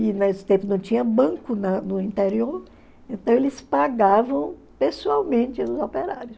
E nesse tempo não tinha banco na no interior, então eles pagavam pessoalmente os operários.